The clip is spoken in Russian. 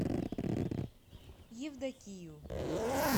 евдокию